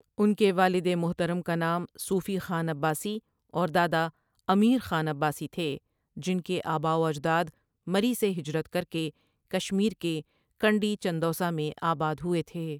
انکے والد محترم کا نام صوفی خان عباسی اور دادا امیر خان عباسی تھے جن کے اباواجداد مری سے ہجرت کرکے کشمیر کے کنڈی چندوسہ میں آباد ہوہے تھے۔